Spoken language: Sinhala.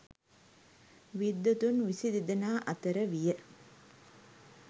විද්වතුන් විසි දෙදෙනා අතර විය.